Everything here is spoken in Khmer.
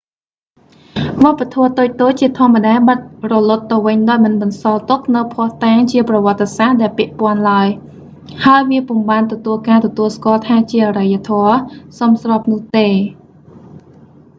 វប្បធម៌តូចៗជាធម្មតាបាត់រលត់ទៅវិញដោយមិនបន្សល់ទុកនូវភស្តុតាងជាប្រវត្តិសាស្ត្រដែលពាក់ព័ន្ធឡើយ ហើយវាពុំបានទទួលការទទួលស្គាល់ថាជាអរិយធម៌សមស្របនោះទេ